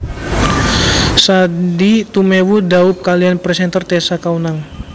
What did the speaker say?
Sandy Tumewu dhaup kaliyan presenter Tessa Kaunang